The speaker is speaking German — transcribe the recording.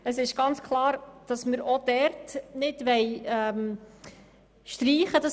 Es ist ganz klar, dass wir auch dort keine Streichung wollen.